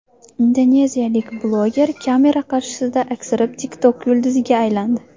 Indoneziyalik bloger kamera qarshisida aksirib, TikTok yulduziga aylandi .